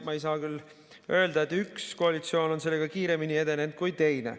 Ma ei saa küll öelda, et üks koalitsioon on sellega kiiremini edenenud kui teine.